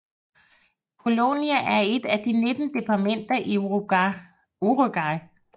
Colonia er et af de 19 departementer i Uruguay